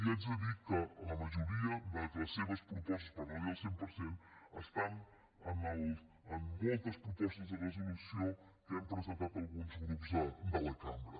i haig de dir que la majoria de les seves propostes per no dir el cent per cent estan en moltes propostes de resolució que hem presentat alguns grups de la cambra